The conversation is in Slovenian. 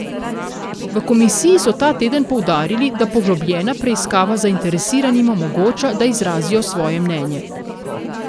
V komisiji so ta teden poudarili, da poglobljena preiskava zainteresiranim omogoča, da izrazijo svoje mnenje.